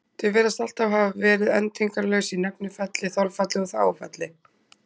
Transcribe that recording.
Þau virðast alltaf hafa verið endingarlaus í nefnifalli, þolfalli og þágufalli.